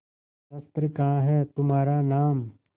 शस्त्र कहाँ है तुम्हारा नाम